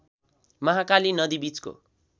महाकाली नदी बीचको